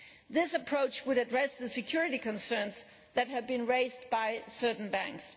This approach would address the security concerns that have been raised by certain banks.